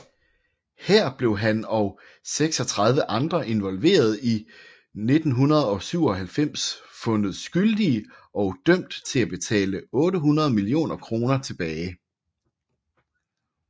Her blev han og 36 andre involverede i 1997 fundet skyldige og dømt til at betale 800 millioner kroner tilbage